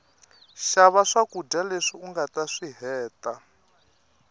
shava swakuja leswi ungataswihheta